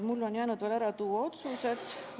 Mul on jäänud veel ära tuua otsused.